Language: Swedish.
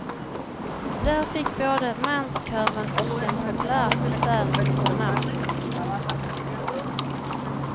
Där fick både manskören och den populära konserten sina namn.